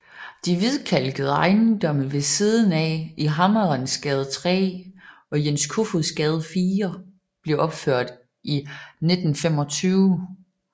De hvidkalkede ejendomme ved siden af i Hammerensgade 3 og Jens Kofods Gade 4 blev opført i 1925